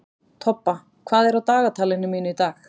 Tobba, hvað er á dagatalinu mínu í dag?